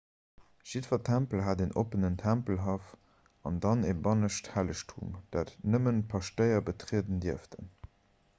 jiddwer tempel hat en oppenen tempelhaff an dann e bannescht hellegtum dat nëmmen d'paschtéier betrieden dierften